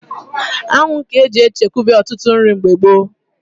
Anwụ ga-eji echekwaba ọtụtụ nri mgbe gboo.